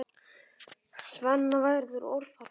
Svenna verður orðfall.